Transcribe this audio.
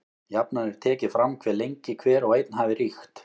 Jafnan er tekið fram hve lengi hver og einn hafi ríkt.